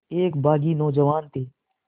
एक बाग़ी नौजवान थे